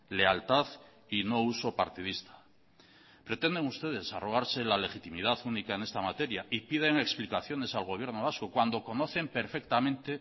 lealtad y no uso partidista pretenden ustedes arrogarse la legitimidad única en esta materia y piden explicaciones al gobierno vasco cuando conocen perfectamente